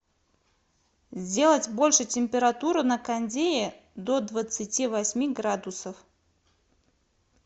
сделать больше температуру на кондее до двадцати восьми градусов